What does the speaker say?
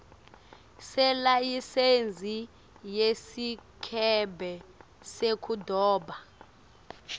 selayisensi yesikebhe sekudoba